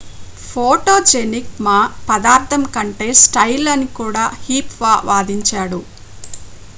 photogenic మా పదార్ధం కంటే స్టైల్ అని కూడా హ్సీహ్ వాదించాడు